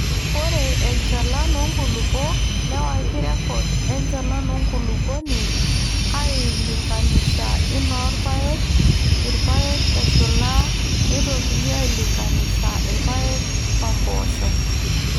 Ore enchalan oonkulupuok newaki rrekod enchalan enkulupuoni ailinkanisha inoo irpaek irpaek eshula neitokini aailinkanisha irpaek oompoosho.